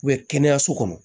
kɛnɛyaso kɔnɔ